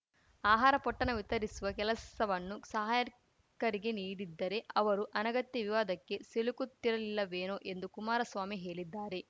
ಆಹಾರ ಪೊಟ್ಟಣ ವಿತರಿಸುವ ಕೆಲಸವನ್ನು ಸಹಾಯರ್ ಕರ್ಗೆ ನೀಡಿದ್ದರೆ ಅವರು ಅನಗತ್ಯ ವಿವಾದಕ್ಕೆ ಸಿಲುಕುತ್ತಿರಲಿಲ್ಲವೇನೋ ಎಂದು ಕುಮಾರಸ್ವಾಮಿ ಹೇಳಿದ್ದಾರೆ